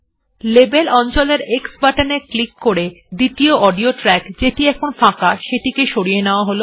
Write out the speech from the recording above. আমরা লেবেল অঞ্চলের X বাটনে ক্লিক করে দ্বিতীয় অডিও ট্র্যাক যেটি এখন ফাঁকা সেটিকে সরিয়ে নেওয়া হল